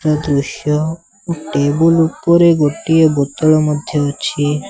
ଏହା ଦୃଶ୍ୟ ଟେବୁଲ୍ ଉପରେ ଗୋଟିଏ ବୋତଲ ମଧ୍ୟ ଅଛି।